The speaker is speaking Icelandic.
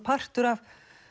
partur af